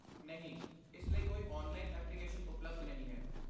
ਨਹੀਂ, ਇਸ ਲਈ ਕੋਈ ਔਨਲਾਈਨ ਐਪਲੀਕੇਸ਼ਨ ਉਪਲਬਧ ਨਹੀਂ ਹੈ।